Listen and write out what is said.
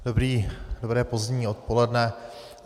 Dobré pozdní odpoledne.